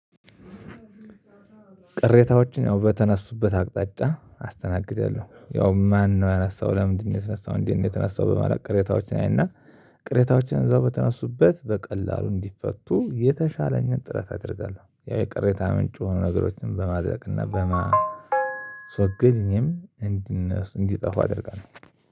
ቅሬታዎችን ያው በተነሱበት አቅጣጫ አስተናግዳለሁ ያው ማነው ያነሳው ለምንድን ነው የተነሳው? እንዴት ነው የተነሳው? በማለት ቅሬታዎችን አይና ቅሬታዎችን እዛው በተነሱበት በቀላሉ እንዲፈቱ የተሻለኝን ጥረት አድርጋለሁ። ያው የቅሬታ ምንጭ የሆኑ ነገሮችን በማድረግና በማስወገድ እኔም ግን እንዲህ እንዲጠፉ አደርጋለሁ።